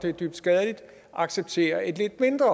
er dybt skadeligt acceptere et lidt mindre